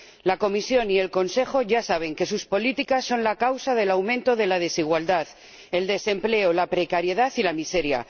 La Comisión y el Consejo ya saben que sus políticas son la causa del aumento de la desigualdad, el desempleo, la precariedad y la miseria.